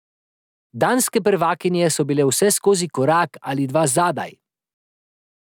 Danske prvakinje so bile vseskozi korak ali dva zadaj.